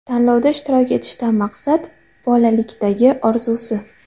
Tanlovda ishtirok etishdan maqsad: bolalikdagi orzusi.